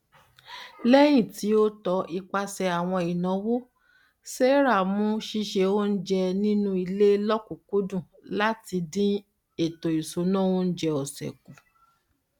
lẹyìn ti o tọ ipasẹ àwọn ináwó sarah mu ṣíṣe oúnjẹ nínú ilé lọkùnkúndùn láti dín ètòisúnà oúnjẹ ọsẹ kù